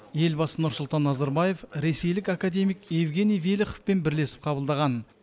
елбасы нұрсұлтан назарбаев ресейлік академик евгений велиховпен бірлесіп қабылдаған